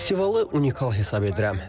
Festivalı unikal hesab edirəm.